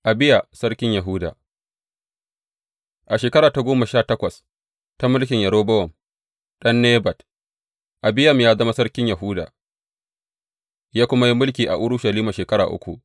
Abiya sarkin Yahuda A shekara ta goma sha takwas ta mulkin Yerobowam ɗan Nebat, Abiyam ya zama sarkin Yahuda, ya kuma yi mulki a Urushalima shekara uku.